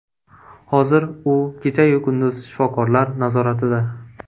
Hozir u kechayu kunduz shifokorlar nazoratida.